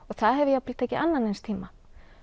það hefur jafnvel tekið annan eins tíma